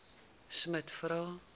smuts vra